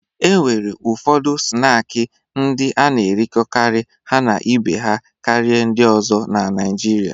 E nwere ụfọdụ snaakị ndị a na-erikọkarị ha na ibe ha karịa ndị ọzọ na Naịjirịa.